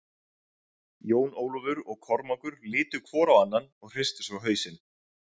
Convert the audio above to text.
Jón Ólafur og Kormákur litu hvor á annan og hristu svo hausinn.